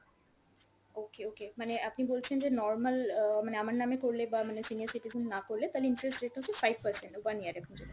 okay okay, মানে আপনি বলছেন যে normal আহ আমার নামে করলে বা মানে senior citizen না করলে তালে interest rate টা হচ্ছে five percent one year জন্য।